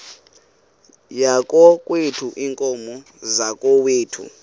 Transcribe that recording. yakokwethu iinkomo zakokwethu